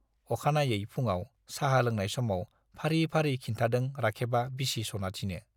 अखानायै फुङाव साहा लोंनाय समाव फारि फारि खिन्थादों राखेबा बिसि सनाथिनो।